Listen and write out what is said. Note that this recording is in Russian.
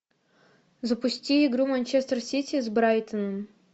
запусти игру манчестер сити с брайтоном